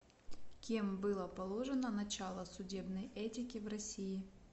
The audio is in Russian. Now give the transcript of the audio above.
кем было положено начало судебной этики в россии